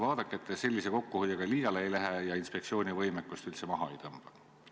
Vaadake, et te sellise kokkuhoiuga liiale ei lähe ja inspektsiooni võimekust üldse maha ei tõmba!